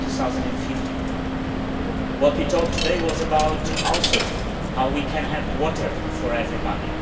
2050. What we talked about today was also how we can have water for everybody.